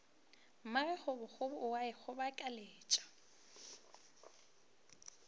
magage kgobokgobo e a ikgobokeletša